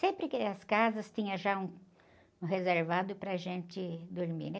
Sempre que as casas tinham já um, um reservado para a gente dormir.